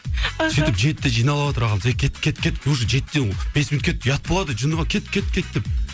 аха сөйтіп жетіде жиналыватыр ағамыз ей кеттік кеттік кеттік уже жетіден бес минут кетті ұят болады жында ма кеттік кеттік кеттік деп